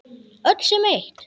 Öll sem eitt.